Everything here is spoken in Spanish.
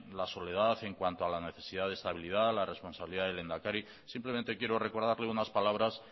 la soledad en cuanto a la necesidad de estabilidad la responsabilidad del lehendakari simplemente quiero recordarle unas palabras